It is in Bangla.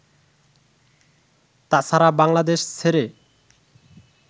তাছাড়া বাংলাদেশ ছেড়ে